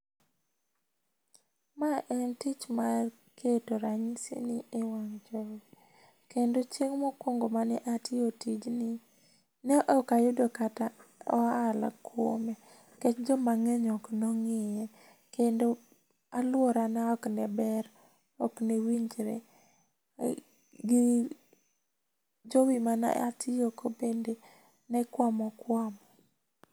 Ma en tich mar keto ranyisini e wang' jowi, kendo chieng' mokwongo mane atiyo tijni, ne ok ayudo kata ohala kuome nikech jomang'eny ok ne ong'iye. Kendo alworana ok ne ber. Ok ne winjre gi jowi mane atiyogo bende ne kwamo kwamo.